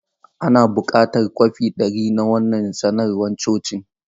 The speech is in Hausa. Ina buƙatan kwafi dari na wannan sanarwar cocin.